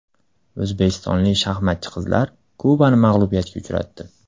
O‘zbekistonlik shaxmatchi qizlar Kubani mag‘lubiyatga uchratdi.